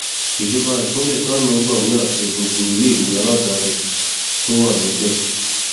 ìjọba ìpínlẹ kánò gbàwé àṣẹ gbogbo iléèwé aládàáni tó wà níbẹ